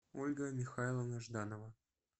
ольга михайловна жданова